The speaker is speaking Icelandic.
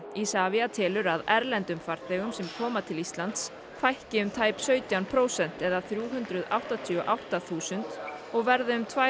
Isavia telur að erlendum farþegum sem koma til Íslands fækki um tæp sautján prósent eða þrjú hundruð áttatíu og átta þúsund og verði um tvær